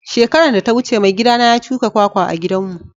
Shekaran da ta wuce maigida na ya shuka kwakwa a'gidan mu.